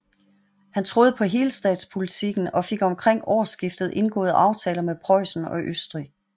Han troede på helstatspolitikken og fik omkring årsskiftet indgået aftaler med Preussen og Østrig